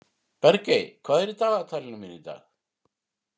Bergey, hvað er í dagatalinu mínu í dag?